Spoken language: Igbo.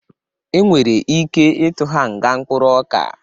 E nwere ike ịtụ ha nga mkpụrụ ọka.